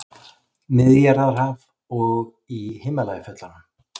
Miðjarðarhaf og í Himalajafjöllum.